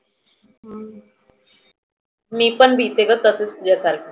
मी पण भिते ग तसच तुझ्या सारखी.